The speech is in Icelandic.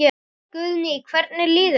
Guðný: Hvernig líður þér?